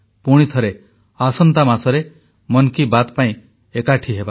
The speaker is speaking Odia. ପୁଣି ଥରେ ଆସନ୍ତା ମାସରେ ମନ୍ କି ବାତ୍ ପାଇଁ ଏକାଠି ହେବା